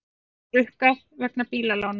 Ekki rukkað vegna bílalána